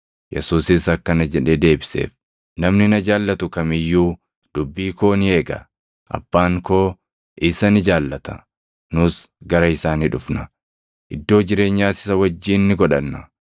Yesuusis akkana jedhee deebiseef; “Namni na jaallatu kam iyyuu dubbii koo ni eega. Abbaan koo isa ni jaallata; nus gara isaa ni dhufna; iddoo jireenyaas isa wajjin ni godhanna.